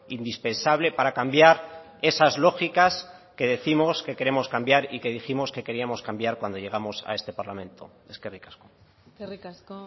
indispensable para cambiar esas lógicas que décimos que queremos cambiar y que dijimos que queríamos cambiar cuando llegamos a este parlamento eskerrik asko eskerrik asko